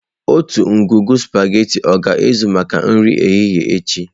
Otu ngwugwu sụpaghetị ọ ga-ezu maka nri ehihie echi?